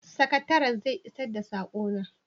sakataren zai isar da sakona?